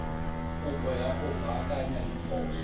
kopo ya go baakanya diphoso